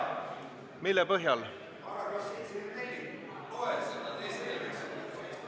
Mille põhjal?